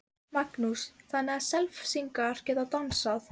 Hugrún: Og hvað hefurðu mikinn tíma til að klára?